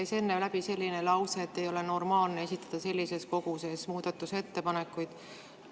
Teil käis enne läbi selline lause, et ei ole normaalne esitada sellises koguses muudatusettepanekuid.